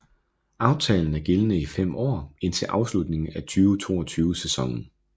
Aftalen er gældende i fem år indtil afslutningen af 2022 sæsonen